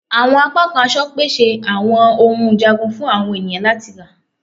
Awọn apakan aṣọ pese awọn ohun njagun fun awọn eniyan lati ra